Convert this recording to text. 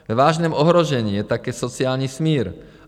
Ve vážném ohrožení je také sociální smír."